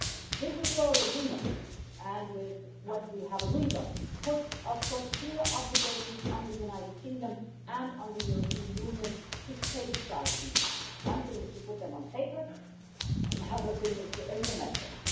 This Withdrawal Agreement and with what we have agreed on, puts clear obligations on the United Kingdom and on the European Union to safeguard these rights. It is one thing is to put them on paper, another thing is to implement them.